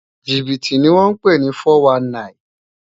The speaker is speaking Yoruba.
Jibiti ni wòn pé ni fòwánní